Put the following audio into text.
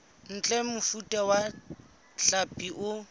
ntle mofuta wa hlapi o